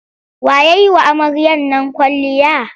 Wa ya yi wa amaryar nan kwalliya?